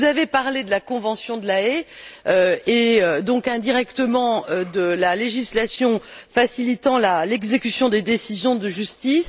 Vous avez parlé de la convention de La Haye et donc, indirectement, de la législation facilitant l'exécution des décisions de justice.